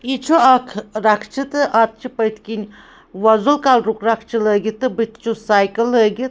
.یہِ چُھ اکھ رکھچہٕ تہٕ اَتھ چھ پٔتھۍ کِنۍ وۄزُل کلرُک رکھچہٕ لٲگِتھ تہٕ بُتھہِ چُھس ساییکل لٲگِتھ